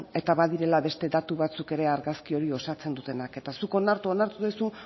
eta badirela beste datu batzuk ere argazki hori osatzen dutenak eta zuk onartu duzu